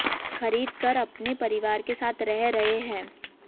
खरीद कर अपने परिवार के साथ रह रहे हैं